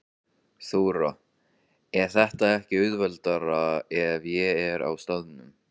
Þóra: Er það ekki auðveldara ef ég er á staðnum?